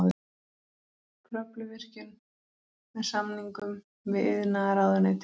Kröfluvirkjun með samningum við iðnaðarráðuneytið.